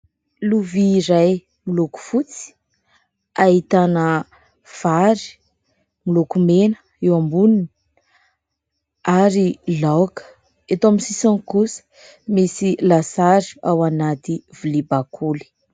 Lovia iray moloko fotsy, ahitana fary moloko mena eo amboniny ary laoka, eto amin'ny sisiny kosa, misy lasary ao anaty vilia bakoly.